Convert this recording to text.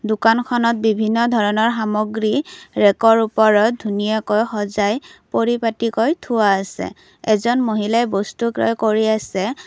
দোকানখনত বিভিন্ন ধৰণৰ সামগ্ৰী ৰেগৰ ওপৰত ধুনীয়াকে সজাই পৰিপাটিকৈ থোৱা আছে এজন মহিলাই বস্তু ক্ৰয় কৰি আছে।